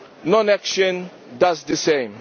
non action does the same.